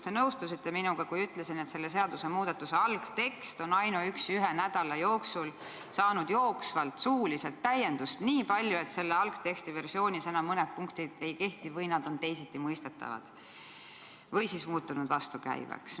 Te nõustusite minuga, kui ütlesin, et selle seadusmuudatuse algtekst on ainuüksi ühe nädala jooksul saanud suuliselt täiendust nii palju, et selle algse versiooni mõned punktid enam ei kehti või tuleb neid teisiti mõista, sest on tekkinud vasturääkivusi.